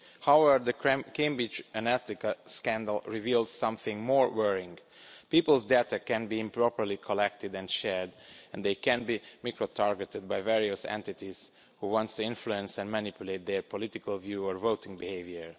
However, the Cambridge Analytica scandal revealed something more worrying people's data can be improperly collected and shared, and they can be microtargeted by various entities who want to influence and manipulate their political view or voting behaviour.